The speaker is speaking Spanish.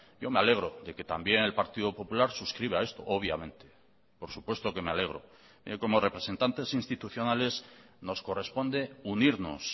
yo me alegro de que también el partido popular suscriba esto obviamente por supuesto que me alegro como representantes institucionales nos corresponde unirnos